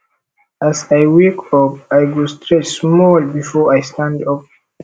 as i wake up i go stretch small before i stand up